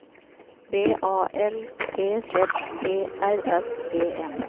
B A L T Z E R S E N